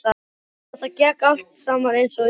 Þetta gekk allt saman eins og í sögu.